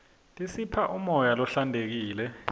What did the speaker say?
tisipha umoya lohlantekile